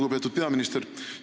Lugupeetud peaminister!